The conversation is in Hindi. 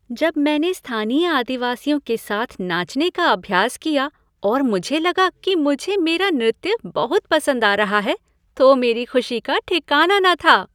जब मैंने स्थानीय आदिवासियों के साथ नाचने का अभ्यास किया और मुझे लगा कि मुझे मेरा नृत्य बहुत पसंद आ रहा है तो मेरी खुशी का ठिकाना न था।